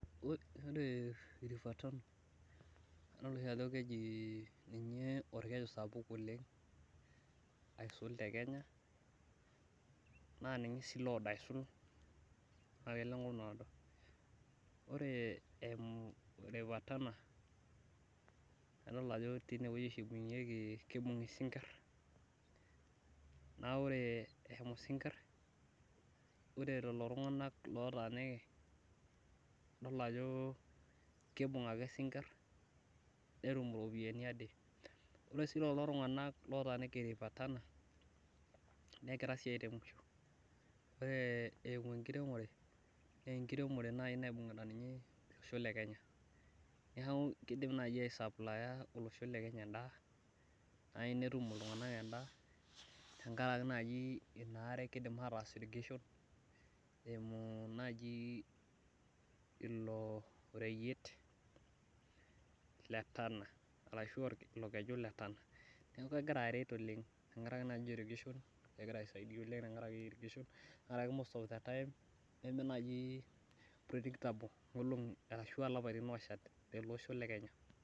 ore river tana naa keji ninye olkeju sapuk oleng' aisul tekenya naa ninye sii oodo aisul naa kelo enkop naado , ore eimu river tana naa tineweji oshi epuonuni aibung esingir, naa ore ishamu isingir naa ore lelo tunganak otaaniki , kibung ake isinkir netum iropiyiani ade, ore sii lelo tunganak otaaniki river tana, negira sii airemisho ore eimu enkiremore naa ninye naibungita olosho lekenya neeku kidim naaji ai supplier olosho lenya edaa naaji netum iltunganak edaa tenkaraki naaji inaare kidim ataas irrigation eimu naaji ilo reyiet letana, neeku kegira aret oleng.